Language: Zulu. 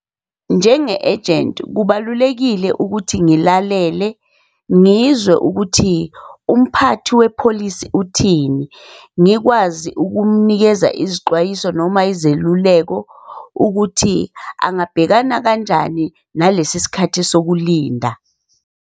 Njenge-agent, kubalulekile ukuthi ngilalele ngizwe ukuthi umphathi wepholisi uthini. Ngikwazi ukumnikeza izixwayiso noma izeluleko, ukuthi angabhekana kanjani nalesi sikhathi sokulinda.